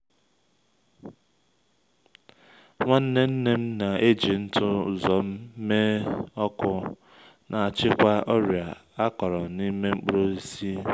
nwanne nne m na-eji ntụ uzomme ọkụ achịkwa ọrịa akọrọ na’ime mkpụrụ osisi.